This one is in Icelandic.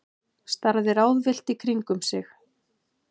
Starði ráðvillt í kringum sig.